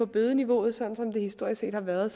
bødeniveauet historisk set har været